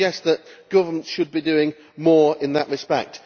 I would suggest that governments should be doing more in that respect.